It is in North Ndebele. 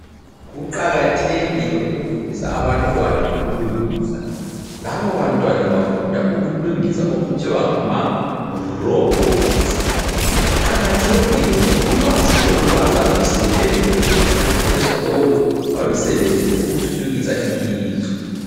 Kuqakathekile ukufundisa abantwana ukulungisa. Labo bantwana bafunda ukulungisa okuthiwa ngamarobots. Kuqakathekile ngoba ulwazi lolu bazalusebenzisa sebeqedile esikolo balusebenzise ukuthuthukisa ilizwe.